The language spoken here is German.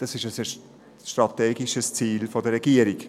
Dies ist ein strategisches Ziel der Regierung.